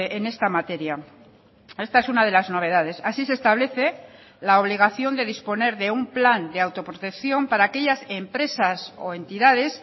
en esta materia esta es una de las novedades así se establece la obligación de disponer de un plan de autoprotección para aquellas empresas o entidades